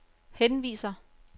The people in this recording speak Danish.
henviser